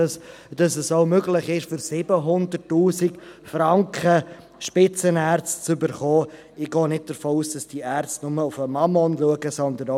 Weshalb unterstützt trotzdem eine Mehrheit der glp diesen Vorstoss?